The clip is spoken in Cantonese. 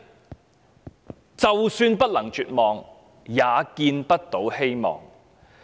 就是"就算不能絕望，也見不到希望"。